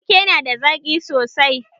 Rake na da zaƙi sosai.